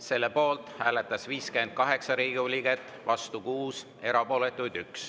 Selle poolt hääletas 58 Riigikogu liiget, vastu 6, erapooletuid oli 1.